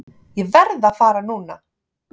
Ég verð að fara núna!